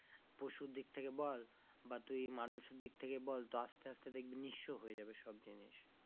পশু দিক থেকে বল বা তুই মানুষ দিক থেকে বল তো আস্তে আস্তে দেখবি নিঃস্ব হয়ে যাবে সব জিনিস।